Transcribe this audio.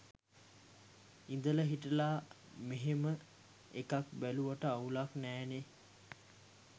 ඉදලා හිටලා මෙහෙම ‍එකක් බැලුවට අවුලක් නෑනේ?